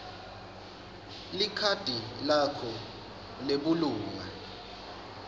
likhadi lakho lebulunga